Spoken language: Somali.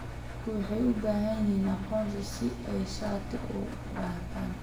Dadku waxay u baahan yihiin aqoonsi si ay shati u qaataan.